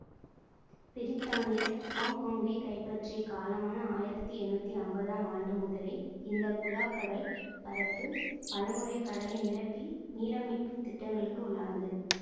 பிரித்தானியர் ஹொங்கொங்கை கைப்பற்றியக் காலமான ஆயிரத்தி எண்ணூற்றி ஐம்பதாம் ஆண்டு முதலே இந்த குடா கடல் பரப்பு பலமுறை கடலை நிரப்பி நிலம் மீட்பு திட்டங்களுக்கு உள்ளானது